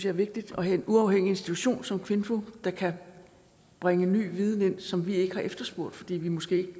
er vigtigt at have en uafhængig institution som kvinfo der kan bringe ny viden ind som vi ikke har efterspurgt fordi vi måske ikke